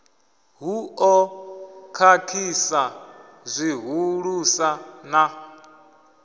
hu ḓo khakhisa zwihulusa na